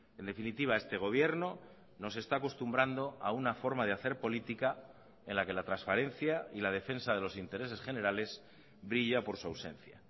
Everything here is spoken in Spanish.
en definitiva este gobierno nos esta acostumbrando a una forma de hacer política en la que la transparencia y la defensa de los intereses generales brilla por su ausencia